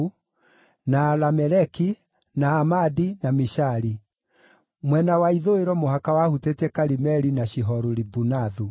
na Alameleki, na Amadi, na Mishali. Mwena wa ithũĩro mũhaka wahutĩtie Karimeli na Shihoru-Libunathu.